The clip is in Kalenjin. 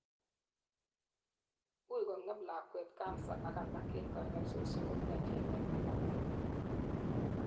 uui kongem lakwet cancer ak alak en kanyaisosiek komiachen en managet